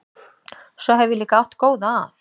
Svo hef ég líka átt góða að.